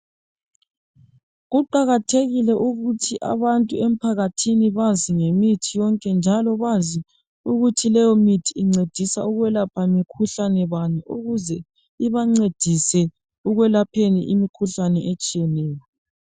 Kuqakathekile ukuthi abantu emphakathini bazi ngemithi yonke njalo bazi ukuthi lemithi incedisa ukwelapha mikhuhlane bani ukuze ibancedise ekwelapheni imikhuhlane etshiyeneyo.